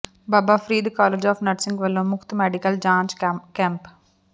Baba Farid college of nursing ਵੱਲੋਂ ਮੁਫ਼ਤ medical ਜਾਂਚ ਕੈਂਪ